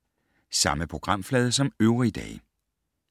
Samme programflade som øvrige dage